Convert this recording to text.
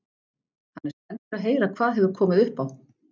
Hann er spenntur að heyra hvað hefur komið upp á.